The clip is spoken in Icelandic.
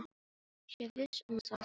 Sé viss um að það sé rétt.